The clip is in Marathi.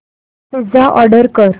पिझ्झा ऑर्डर कर